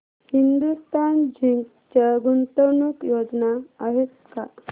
Hindustan zinc च्या गुंतवणूक योजना आहेत का